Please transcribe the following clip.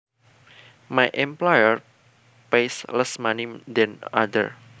My employer pays less money than other